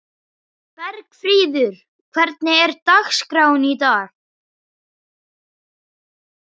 Bergfríður, hvernig er dagskráin í dag?